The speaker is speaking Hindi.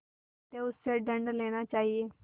अतएव उससे दंड लेना चाहिए